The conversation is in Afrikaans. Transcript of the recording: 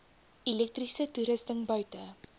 elektriese toerusting buite